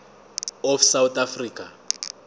of south africa